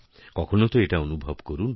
কখনও তো এটা অনুভব করুন